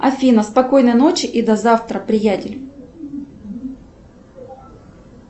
афина спокойной ночи и до завтра приятель